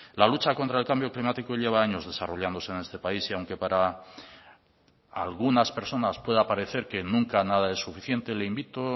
la lucha contra el cambio climático lleva años desarrollándose en este país y aunque para algunas personas pueda parecer que nunca nada es suficiente le invito